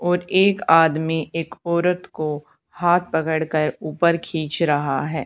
और एक आदमी एक औरत को हाथ पकड़ कर ऊपर खींच रहा है।